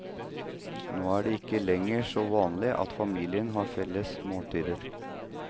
Nå er det ikke lenger så vanlig at familien har felles måltider.